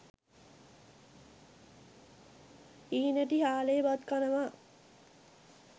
හීනටි හාලේ බත් කනවා.